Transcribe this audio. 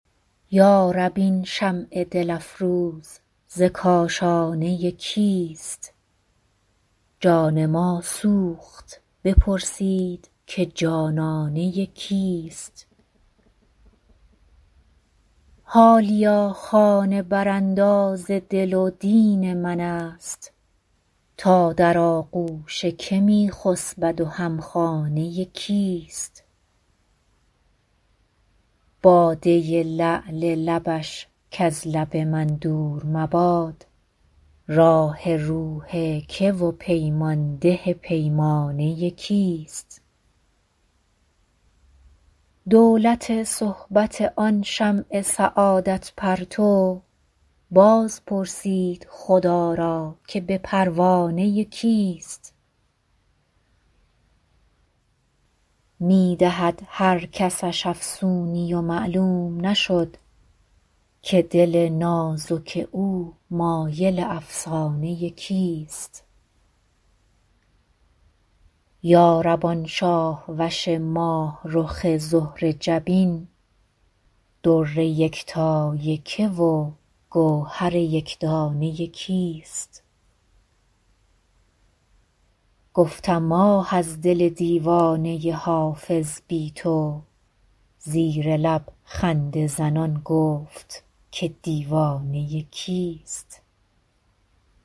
یا رب این شمع دل افروز ز کاشانه کیست جان ما سوخت بپرسید که جانانه کیست حالیا خانه برانداز دل و دین من است تا در آغوش که می خسبد و هم خانه کیست باده لعل لبش کز لب من دور مباد راح روح که و پیمان ده پیمانه کیست دولت صحبت آن شمع سعادت پرتو باز پرسید خدا را که به پروانه کیست می دهد هر کسش افسونی و معلوم نشد که دل نازک او مایل افسانه کیست یا رب آن شاه وش ماه رخ زهره جبین در یکتای که و گوهر یک دانه کیست گفتم آه از دل دیوانه حافظ بی تو زیر لب خنده زنان گفت که دیوانه کیست